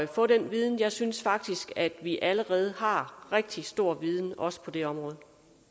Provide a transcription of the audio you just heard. få den viden jeg synes faktisk at vi allerede har rigtig stor viden også på det område